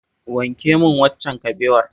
Wanke min waccan kabewar.